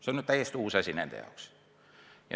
See on täiesti uus asi nende jaoks.